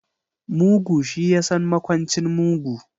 Mugu shi yasan makwancin mugu.